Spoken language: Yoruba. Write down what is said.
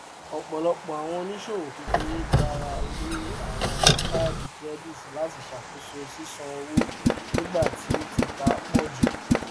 àwọn smiths pínnú láti ṣàkóso ìnáwó àjọpín dáadá sí látí máa ló irinṣẹ ìṣúná ayélujára